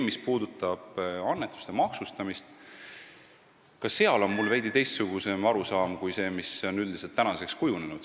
Mis puudutab aga annetuste maksustamist, siis on mul ka seal veidi teistsugune arusaam kui see, mis on üldiselt praeguseks välja kujunenud.